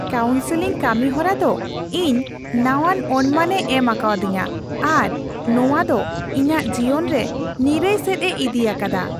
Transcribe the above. Counselling ᱠᱟᱹᱢᱤ ᱦᱚᱨᱟ ᱫᱚ ᱤᱧ ᱱᱟᱣᱟᱱ ᱚᱱᱢᱟᱱᱮ ᱮᱢ ᱟᱠᱟᱫᱤᱧᱟᱹ ᱟᱨ ᱱᱚᱶᱟ ᱫᱚ ᱤᱧᱟᱹᱜ ᱡᱤᱭᱚᱱ ᱨᱮ ᱱᱤᱨᱟᱹᱭ ᱥᱮᱫ ᱮ ᱤᱫᱤ ᱟᱠᱟᱫᱟ ᱾